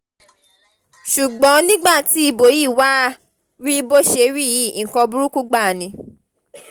ṣùgbọ́n nígbà tí ibo yí wàá rí bó ṣe rí yìí nǹkan burúkú gbáà ni